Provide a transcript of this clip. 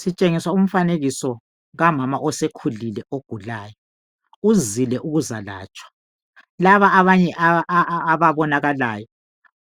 Sitshengiswa umfanekiso kamama osekhulile ogulayo uzile ukuzalatshwa , laba abanye ababonakalayo